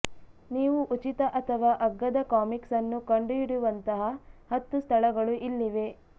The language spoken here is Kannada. ನೀವು ಉಚಿತ ಅಥವಾ ಅಗ್ಗದ ಕಾಮಿಕ್ಸ್ ಅನ್ನು ಕಂಡುಹಿಡಿಯುವಂತಹ ಹತ್ತು ಸ್ಥಳಗಳು ಇಲ್ಲಿವೆ